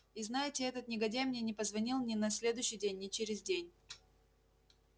и знаете этот негодяй мне не позвонил ни на следующий день ни через день